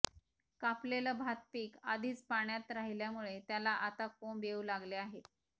कापलेलं भात पीक आधीच पाण्यात राहिल्यामुळे त्याला आता कोंब येऊ लागले आहेत